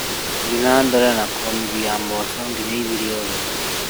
Thiĩ na mbere na kũũmithia mboco nginya ithire ũhehu